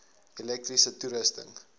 elektriese toerusting